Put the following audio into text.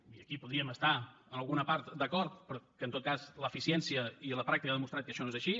i aquí podríem estar en alguna part d’acord però que en tot cas l’eficiència i la pràctica han demostrat que això no és així